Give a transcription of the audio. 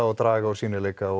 að draga úr sýnileika og